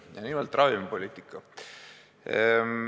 Ja nimelt, ravimipoliitika.